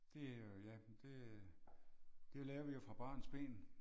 Det er jo ja men det det lærer vi jo fra barns ben